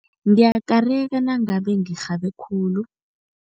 Ngiyakareka nangabe ngirhabe khulu.